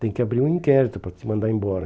Tem que abrir um inquérito para te mandar embora.